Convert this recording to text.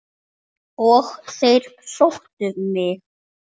Og þeir sóttu mig.